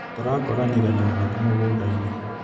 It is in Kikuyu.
Tũrakoranire na arata mũgũndainĩ.